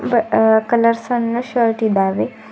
ಬ ಆ ಕಲರ್ಸ್ನ ನ ಶರ್ಟ್ ಇದ್ದಾವೆ.